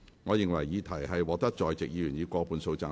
我認為議題獲得在席議員以過半數贊成。